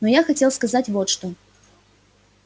но я хотел сказать вот что